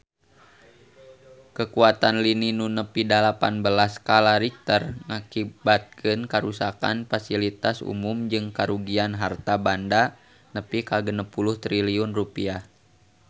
Kakuatan lini nu nepi dalapan belas skala Richter ngakibatkeun karuksakan pasilitas umum jeung karugian harta banda nepi ka 60 triliun rupiah